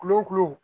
Kulonkun